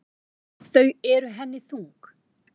Þau eru henni þung.